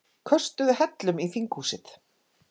Köstuðu hellum í þinghúsið